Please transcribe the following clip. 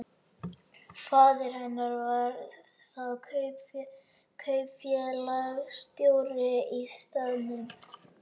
Faðir hennar var þá kaupfélagsstjóri á staðnum.